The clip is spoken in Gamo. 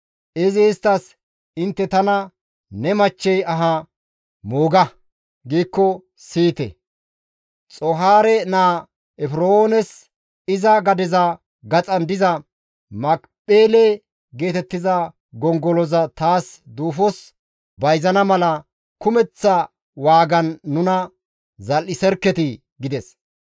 Izi isttas, «Intte tana, ‹Ne machchey aha mooga› giikko siyite; Xoohaare naa Efroones iza gadeza gaxan diza Makipheele geetettiza gongoloza taas duufos bayzana mala kumeththa waagan nuna zal7iserketii» gides.